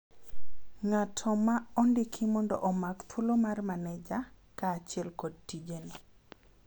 ng'ato ma ondiki mondo omak thuolo mar maneja ,kaachiel kod tijene